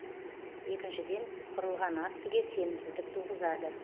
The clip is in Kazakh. екіншіден құрылған актіге сенімсіздік туғызады